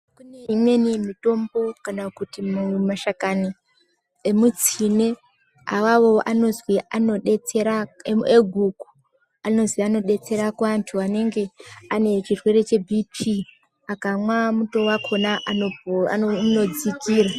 Kune imweni mitombo kana kuti mashakani emutsine , awawo anozwi anodetsera eguku, anozi anodetsera kuantu anenge chirwere chebhipii. Akamwa muto wakhona zvinodzikira.